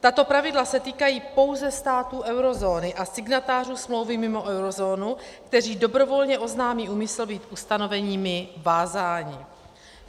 Tato pravidla se týkají pouze států eurozóny a signatářů smlouvy mimo eurozónu, kteří dobrovolně oznámí úmysl být ustanoveními vázáni.